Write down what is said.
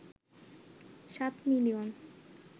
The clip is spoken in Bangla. ৭ মিলিয়ন